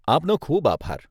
આપનો ખૂબ આભાર.